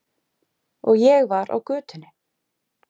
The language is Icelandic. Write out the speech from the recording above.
Og ég var á götunni.